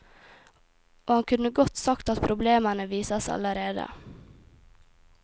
Og han kunne godt sagt at problemene vises allerede.